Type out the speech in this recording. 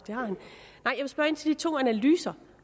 så de to analyser